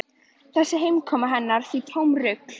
Þessi heimkoma hennar því tómt rugl.